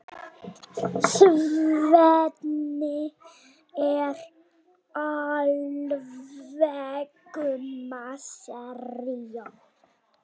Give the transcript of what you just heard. Svenni er alveg miður sín.